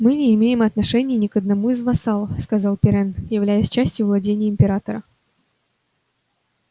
мы не имеем отношения ни к одному из вассалов сказал пиренн являясь частью владений императора